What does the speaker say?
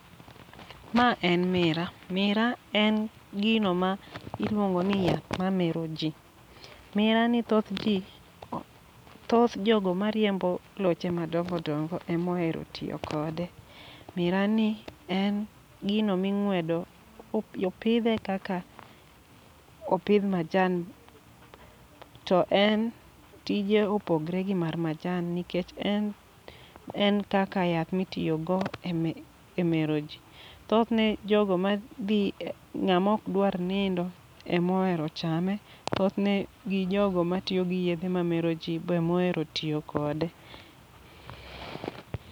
Ma en mira, mira en gino ma iluongo ni yath ma meroji. Mira ni thoth ji, thoth jogo ma riembo loche madongo dongo emohero tiyo kode. Mira ni en gino ming'wedo, opi opidhe kaka opidh majan. To en tije opogre gi mar majan nikech en, en kaka yath mitiyogo eme e mero ji. Thothne jogo ma dhi e ng'amok dwar nindo, emo hero chame. Thothne gi jogo ma tiyo gi yedhe ma mero ji be emo hero tiyo kode.